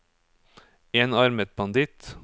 enarmet banditt